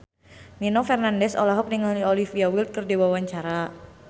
Nino Fernandez olohok ningali Olivia Wilde keur diwawancara